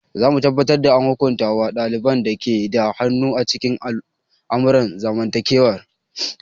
Za mu tabbatar da an hukunta wa ɗaliban da ke da hannu a cikin al'amuran zamantakewa.